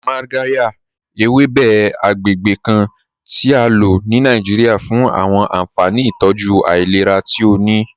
Magàryà, èwébè̩ àgbègbè̩ kàn ti à ló ní Nàìjíríà fún àwọn ànfàní ìtọ́jú ailẹ̀rà tí ó ní.